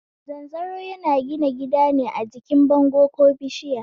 Zanzaro yana gina gidane a jikin bango ko bishiya